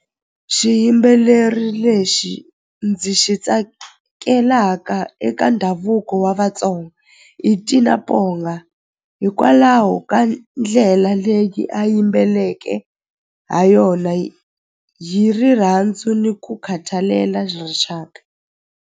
Xiyimbeleri lexi ndzi xi tsakelaka eka ndhavuko wa Vatsonga i hikwalaho ka ndlela leyi a yimbeleke ha yona hi rirhandzu ni ku khathalela rixaka.